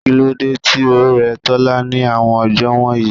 Kílódé tí ó rẹ Tola ní àwọn ọjọ́ wọ̀nyí?